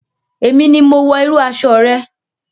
Èmi ni mo wọ irú aṣọ rẹ.